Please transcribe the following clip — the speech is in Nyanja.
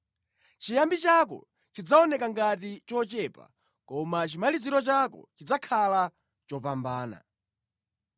Chiyambi chako chidzaoneka ngati chochepa koma chimaliziro chako chidzakhala chopambana.